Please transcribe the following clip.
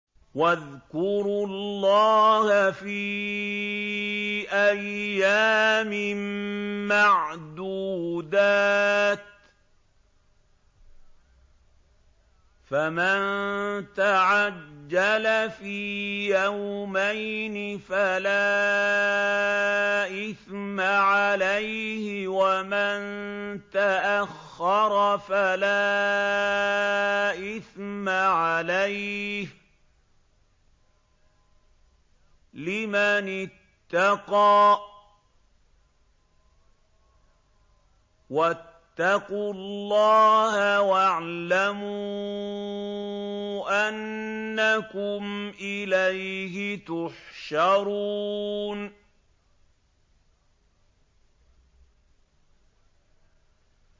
۞ وَاذْكُرُوا اللَّهَ فِي أَيَّامٍ مَّعْدُودَاتٍ ۚ فَمَن تَعَجَّلَ فِي يَوْمَيْنِ فَلَا إِثْمَ عَلَيْهِ وَمَن تَأَخَّرَ فَلَا إِثْمَ عَلَيْهِ ۚ لِمَنِ اتَّقَىٰ ۗ وَاتَّقُوا اللَّهَ وَاعْلَمُوا أَنَّكُمْ إِلَيْهِ تُحْشَرُونَ